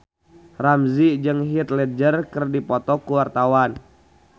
Ramzy jeung Heath Ledger keur dipoto ku wartawan